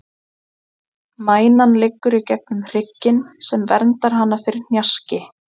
Mænan liggur í gegnum hrygginn, sem verndar hana fyrir hnjaski.